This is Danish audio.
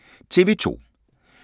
TV 2